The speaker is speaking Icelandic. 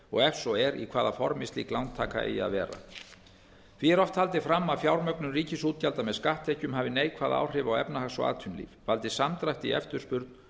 og ef svo er í hvaða formi slík lántaka eigi að vera því er oft haldið fram að fjármögnun ríkisútgjalda með skatttekjum hafi neikvæð áhrif á efnahags og atvinnulíf valdi samdrætti í eftirspurn